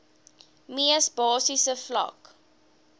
mees basiese vlak